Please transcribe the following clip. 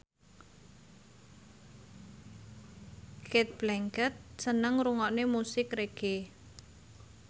Cate Blanchett seneng ngrungokne musik reggae